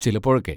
ചിലപ്പോഴൊക്കെ.